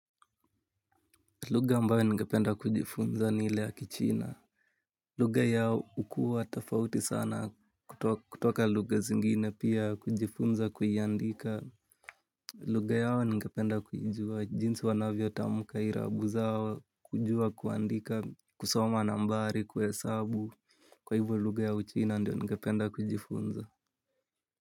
Lugha ambayo ningependa kujifunza ni ile ya kichina. Lugha yao hukua tofauti sana kutoka lugha zingine pia kujifunza kuiandika. Lugha yao ningependa kuijua jinsi wanavyotamka irabu zao, kujua kuandika, kusoma nambari, kuhesabu. Kwa hivyo lugha ya uchina ndio ningependa kujifunza.